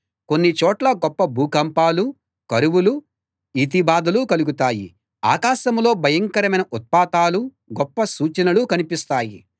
కొన్ని చోట్ల గొప్ప భూకంపాలూ కరువులూ ఈతిబాధలూ కలుగుతాయి ఆకాశంలో భయంకరమైన ఉత్పాతాలూ గొప్ప సూచనలూ కనిపిస్తాయి